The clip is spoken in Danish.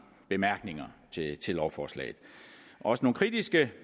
bemærkninger til lovforslaget også nogle kritiske